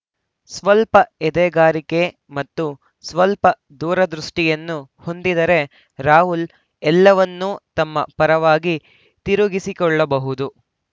ಸ್ವಲ್ಪ ಎದೆಗಾರಿಕೆ ಮತ್ತು ಸ್ವಲ್ಪ ದೂರದೃಷ್ಟಿಯನ್ನು ಹೊಂದಿದರೆ ರಾಹುಲ್‌ ಎಲ್ಲವನ್ನೂ ತಮ್ಮ ಪರವಾಗಿ ತಿರುಗಿಸಿಕೊಳ್ಳಬಹುದು